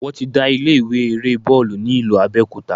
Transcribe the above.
Wọ́n ti dá ilé ìwé eré bọ́ọ̀lù ni ìlú Abẹ́òkúta.